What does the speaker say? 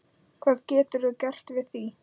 Hvað geturðu gert við því?